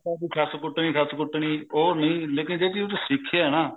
ਵੀ ਸੱਸ ਕੁੱਟਣੀ ਸੱਸ ਕੁੱਟਣੀ ਉਹ ਨਹੀਂ ਲੇਕਿਨ ਜਿਹੜੀ ਉਹ ਚ ਸਿੱਖਿਆ ਨਾ